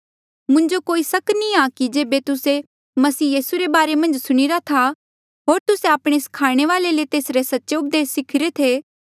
मुंजो कोई सक नी आ कि जेबे तुस्से मसीह रे बारे मन्झ सुणिरा था होर तुस्से आपणे स्खाणे वाले ले तेसरे सच्चे उपदेस सिखिरे थे